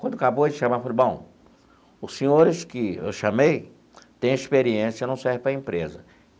Quando acabou de chamar, ele falou, bom, os senhores que eu chamei têm experiência, não serve para a empresa.